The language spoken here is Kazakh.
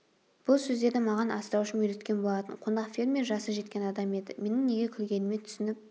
бұл сөздерді маған асыраушым үйреткен болатын қонақ фермер жасы жеткен адам еді менің неге күлгеніме түсініп